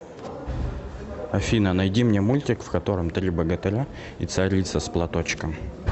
афина найди мне мультик в котором три богатыря и царица с платочком